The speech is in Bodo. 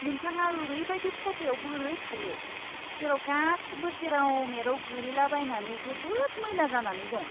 नोंथाङा ओरैबायदि खथायाव बोरै थायो, जेराव गासिबो जेराव मेराव गोलैलाबायनानै जोबोद मैला जानानै दं।